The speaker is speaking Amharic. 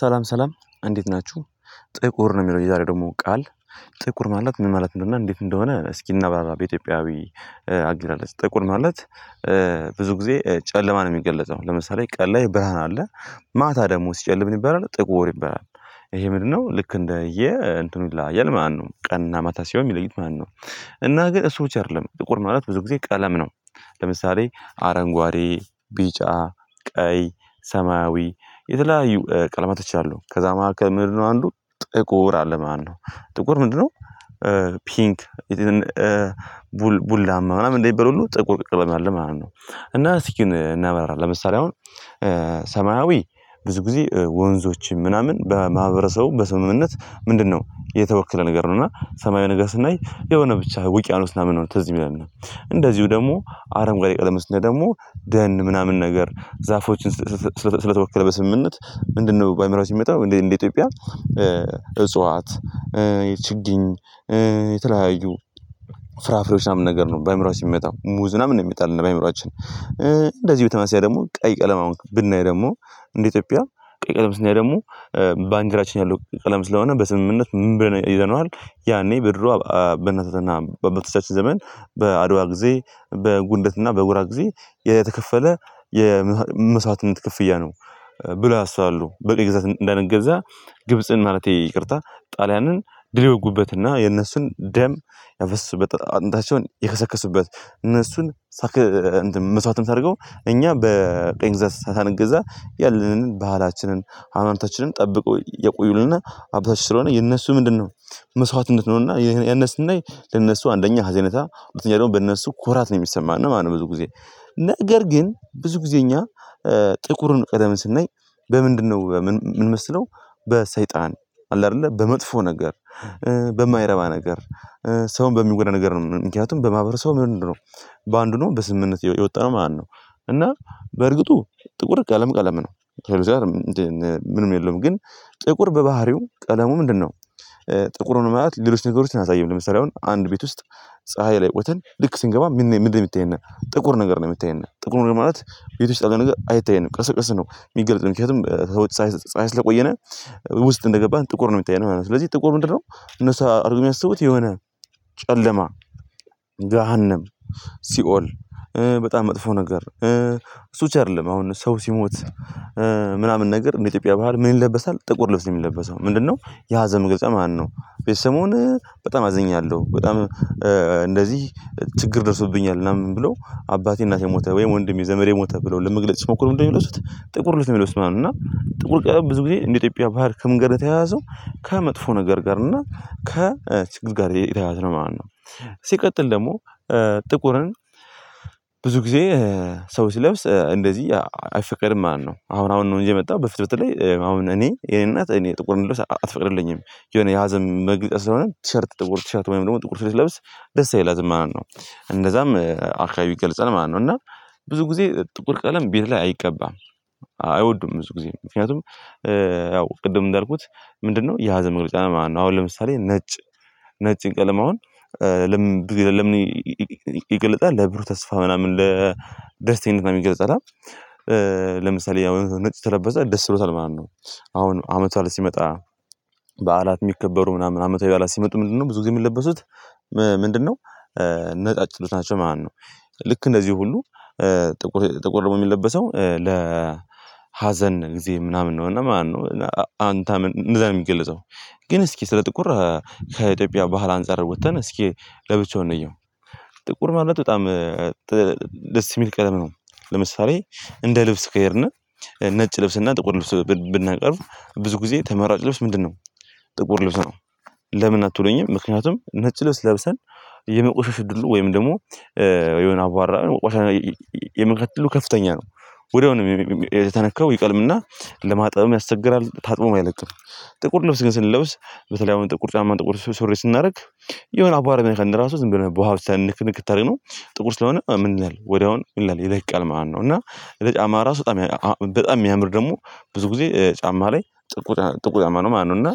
ሰላም ሰላም እንዴት ናችሁ። ጥቁር ነው የሚለው የዛሬ ደግሞ ቃል። ጥቁር ማለት ምን ማለት ነው? እና እንዴት እንደሆነ እስኪ እናብራራ። በኢትዮጵያዊ አግላለፅ ጥቁር ማለት። ብዙ ጊዜ ጨለማ ነው የሚገለጸው። ለምሳሌ ቀን ላይ ብርሃን አለ። ማታ ደግሞ ሲጨልም ምን ይበላል ጥቁር ይበላል። ይሄ ምንድነው ልክ እንደየ እንትኑ ይላያል ማለት ነው። ቀንና ማታ ሲሆን እሚለዩት ማነው? እና ግን እሱ ብቻ አይደለም ጥቁር ማለት ብዙ ጊዜ ቀለም ነው። ለምሳሌ አረንጓዴ ቢጫ ቀይ ሰማያዊ የተለያዩ ቀለማቶች አሉ ከዛ መካከል ምንድነው አንዱ ጥቁር አለ ማለት ነው። ጥቁር ምንድነው? ፒንክ ቡናማ ምናምን እንደሚባል ሁሉ ጥቁር ቀለም አለ ማለት ነው። እና እስኪ እናበራራ ለምሳሌ አሁን ሰማያዊ ብዙ ጊዜ ወንዞችን ምናምን በማህበረሰቡ በስምምነት ምንድነው የተወከለ ነገር ነው። እና ሰማያዊ ነገር ስናይ የሆነ ብቻ ውቅያኖስ ምናምን ነው ትዝ እሚለን እንደዚሁ ደግሞ አረንጓዴ ቀለም ስናይ ደግሞ ደን ምናምን ነገር ዛፎችን። ስለተወከለ በስምምነት ምንድነው በአእምሯችን እመጣው እንደዚህ እንደ ኢትዮጵያ እጽዋት ችግኝ የትለያዩ ፍራፍሬዎች ምናምን ነገር ነው በአእምሯችን እሚመጣው ሙዝ ምናምን ነው እሚመጣልን በአእምሯችን። እንደዚህ በተመሳሳይ ደግሞ ቀይ ቀለም ነው ብናይ ደግሞ እንደ ኢትዮጵያ ቀይ ቀለም ስናይ ደግሞ ባንዲራችን ያለው ያሉት ቀለም ስለሆነ በስምምነት ምን ይዘነዋል። ያኔ ብድሩ በእናቶችና በአባቶቻችን ዘመን በአድዋ ጊዜ በጉንደትና በጉራ ጊዜ የተከፈለ የመስዋዕትነት ክፍያ ነው። ብለው ያስባሉ በቀኝ ግዛት እንዳንገዛ ግብጽን ማለቴ ይቅርታ ጣልያንን ድል የወጉበትና የነሱን ደም ያፈሰሱበት አጥንታቸውን የከሰከሱበት እነሱን። መስዋዕትነት አድርገው እኛ በቀኝ ግዛት ሳንገዛ ያለንን ባህላችንን ሃይማኖታችንን ጠብቆ ያቆዩልን ሀብታችን ስለሆነ የእነሱ ምንድነው? መስዋዕትነት ነውና ያንን ስናይ የነሱ አንደኛ ሀዘኔታ ሁለተኛ ደግሞ በእነሱ ኩራት ነው እሚሰማን ማለት ነው። ብዙ ጊዜ ነገር ግን ብዙ ጊዜ እኛ ጥቁርን ቀለም ስናይ በምንድነው እምንመስለው? በሰይጣን አለ አይደለ በመጥፎ ነገር በማይረባ ነገር ሰውን በሚጎዳ ነገር ነው። ምክንያቱም በማህበረሰቡ ምንድነው በአንዱ ነው በስምምነት የወጣነው ማለት ነው። እና በእርግጡ ጥቁር ቀለም ቀለም ነው። ምንም የለውም ግን ጥቁር በባህሪው ቀለሙ ምንድነው? ጥቁሩን ሆነ ማለት ሌሎች ነገሮችን አያሳይም ለምሳሌ አሁን አንድ ቤት ውስጥ ፀሀይ ላይ ቆይተን ልክ ስንገባ ምን የምታየን ጥቁር ነገር ነው እሚታየን ጥቁር ነው። ማለት ቤት ውስጥ አለ ነገር አይታየንም ቀስ በቀስ ነው የሚገልጽ ምክንያቱም። ስለቆየነ ውስጥ እንደገባን ጥቁር ነው እሚታየን። ስለዚህ ጥቁር ምንድነው እነሱ አድርገው እሚያስቡት የሆነ ጨለማ ገሃነም ሲኦል በጣም መጥፎ ነገር። እሱ ብቻ አይደለም አሁን ሰው ሲሞት ምናምን ነገር እንደ ኢትዮጵያ በዓል ምን ይለበሳል ጥቁር ልብስ ነው የሚለበሰው ምንድነው? የሀዘን መግለጫ ማለትነው በዚህ ሰሞን በጣም አዝኛለሁ በጣም እንደዚህ ችግር ደርሶብኛል ምናምን ብሎ አባቴ እናቴ ሞተ ወይም ወንድሜ ዘመዴ ሞተ ብሎ ለመግለጽ ስሞክሩ ምንድነው የሚለብሱት ጥቁር ልብስ ነው የሚለብሱት ማለትነው። እና ጥቁር ቀለም ብዙ ጊዜ እንደ ኢትዮጵያ ባህል ከምን ጋር የተያያዘው ከመጥፎ ነገር ጋር እና ከ ችግር ጋር የተያያዘ ነው ማለት ነው። ሲቀጥል ደግሞ ጥቁርን ብዙ ጊዜ ሰው ሲለብስ እንደዚህ አይፈቀድም ማለትነው አሁን አሁን ነው እንጂ የመጣው በፊት በተለይ አሁን እኔ የኔ እናት እኔ ጥቁር እንድለብስ አትፈቅድልኝም የሆነ የሀዘን መግለጫ ስለሆነ ቲሸርት ጥቁር ቲሸርት ወይም ደግሞ ጥቁር ስለብስ ደስ አይላትም ማለት ነው። እንደዛም አርካይቢ ይገልጻል ማለት ነው እና ብዙ ጊዜ ጥቁር ቀለም ቤት ላይ አይቀባም። አይወዱም ብዙ ጊዜ ምክንያቱም ያው ቅድም እንዳልኩት ምንድነው የሀዘን መግለጫ ማለት ነው። አሁን ለምሳሌ ነጭ ነጭ ቀለም አሁን ለምን ይገለጣል ለብሩ ተስፋ ምናምን ለደስተኝነት ምናምን ይገልጻል አ ለምሳሌ ያው ነጭ ከለበሰ ደስ ብሎታል ማለት ነው። አሁን አመት በዓል ሲመጣ በዓላት የሚከበሩ ምናምን አመታዊ በዓላት ሲመጡ ምንድነው ብዙ ጊዜ የምትለበሱት ምንድነው? ነጫጭ ልብሶች ናቸው ማለት ነው። ልክ እንደዚህ ሁሉ ጥቁር ጥቁር ደግሞ የሚለበሰው ለ ሀዘን ጊዜ ምናምን ነው እና ምናምን ነው እና አንተ እንደዛ ነው የሚገለጸው። ግን እስኪ ስለ ጥቁር ከኢትዮጵያ ባህል አንፃር ወጥተን እስኪ ለብቻው እንየው። ጥቁር ማለት በጣም ደስ የሚል ቀለም ነው። ለምሳሌ እንደ ልብስ ከሄድን ነጭ ልብስ እና ጥቁር ልብስ ብናቀርብ ብዙ ጊዜ ተመራጭ ልብስ ምንድነው? ጥቁር ልብስ ነው። ለምን አትሉኝም? ምክንያቱም ነጭ ልብስ ለብሰን የመቆሸሽ እድሉ ወይም ደግሞ የሆነ አቧራ ቆሻሻ ከፍተኛ ነው። ወዲያውኑ ነው የተነካው ይቀልምና ለማጠብም ያስቸግራል ታጥቦሞ አይለቅም። ጥቁር ልብስ ግን ስንለብስ በተለይ አሁን ጥቁር ጫማ ጥቁር ሱሪ ስናደርግ የሆነ አቧራ ቢነካን እራሱ ዝም ብለን በውሃ ውስጥ ንክንክት አርገነው። ጥቁር ስለሆነ ምን ይላል ወዲያውኑ ምን ይላል ይለቃል ማለት ነው። እና የጫማ ራሱ በጣም በጣም የሚያምር ደግሞ ብዙ ጊዜ ጫማ ላይ ጥቁር ጥቁር ጫማ ነው ማለት ነው። እና